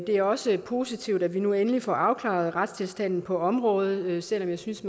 er også positivt at vi nu endelig får afklaret retstilstanden på området selv om jeg synes